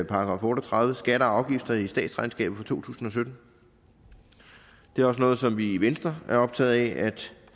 § otte og tredive om skatter og afgifter i statsregnskabet for to tusind og sytten det er også noget som vi i venstre er optaget af at